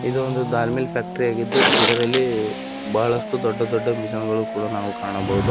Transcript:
ಇದೊಂದು ದಾಲ್ mill factory ಆಗಿದ್ದು ಇದರಲ್ಲಿ ಬಹಳಷ್ಟು ದೊಡ್ಡ ದೊಡ್ಡ ಮಿಷಿನ್ ಗಳನ್ನ ನಾವು ಕಾಣಬಹುದು ಹಾಗೆ --